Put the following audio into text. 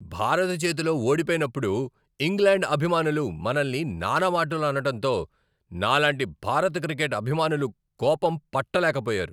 భారత్ చేతిలో ఓడిపోయినప్పుడు ఇంగ్లాండ్ అభిమానులు మనల్ని నానా మాటలు అనడటంతో నాలాంటి భారత క్రికెట్ అభిమానులు కోపం పట్టలేకపోయారు.